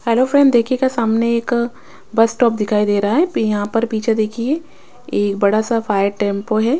Hello friend देखिएगा सामने एक बस स्टॉप दिखाई दे रहा है पी यहां पर पीछे देखिए एक बड़ा सा फायर टेंपो है।